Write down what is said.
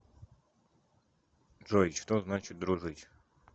джой что значит дружить